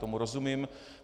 Tomu rozumím.